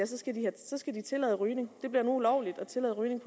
skal det tillade rygning det bliver nu ulovligt at tillade rygning